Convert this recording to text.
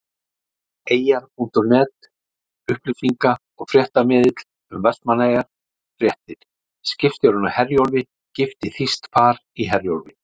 Eyjar.net- upplýsinga- og fréttamiðill um Vestmannaeyjar- Fréttir- Skipstjórinn á Herjólfi gifti Þýskt par í Herjólfi.